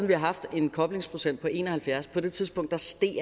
vi har haft en koblingsprocent på en og halvfjerds på det tidspunkt steg